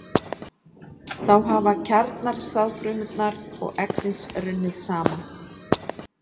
Þá hafa kjarnar sáðfrumunnar og eggsins runnið saman.